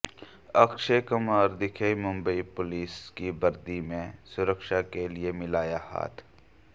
अक्षय कुमार दिखे मुंबई पुलिस की वर्दी में सुरक्षा के लिए मिलाया हाथ